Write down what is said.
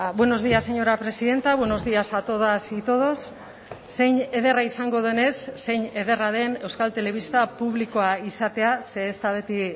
buenos días señora presidenta buenos días a todas y todos zein ederra izango denez zein ederra den euskal telebista publikoa izatea ze ez da beti